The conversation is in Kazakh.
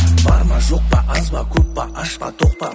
бар ма жоқ па аз ба көп па аш па тоқ па